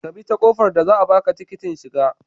Ka bi ta kofar da za a baka tikiting shigar